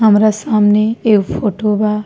हमरा सामने एगो फोटो बा।